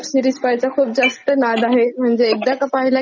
म्हणजे एकदाका पाहायला घेतली कि ती सोडलीच जात नाही माझ्याकडून.